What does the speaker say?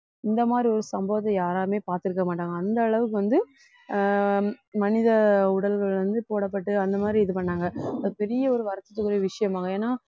இந்த மாதிரி ஒரு சம்பவத்தை யாருமே பார்த்திருக்க மாட்டாங்க அந்த அளவுக்கு வந்து ஆஹ் மனித உடல்கள் வந்து போடப்பட்டு அந்த மாதிரி இது பண்ணாங்க ஒரு பெரிய ஒரு வருத்தத்துக்குரிய விஷயமாகும் ஏன்னா